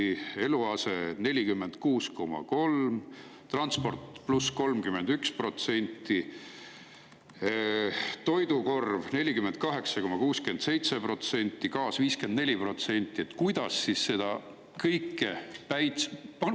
Eluaseme 46,3%, transpordil 31%, toidukorvil 48,67%, gaasil 54%.